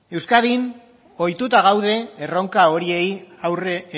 euskadin ohituta gaude erronka horiei aurre